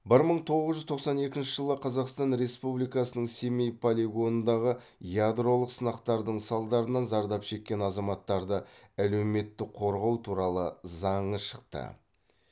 бір мың тоғыз жүз тоқсан екінші жылы қазақстан республикасының семей полигонындағы ядролық сынақтардың салдарынан зардап шеккен азаматтарды әлеуметтік қорғау туралы заңы шықты